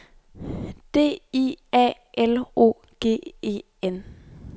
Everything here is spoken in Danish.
D I A L O G E N